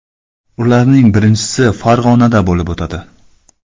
Ularning birinchisi Farg‘onada bo‘lib o‘tadi.